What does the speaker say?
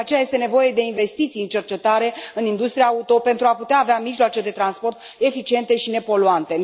de aceea, este nevoie de investiții în cercetare, în industria auto, pentru a putea avea mijloace de transport eficiente și nepoluante.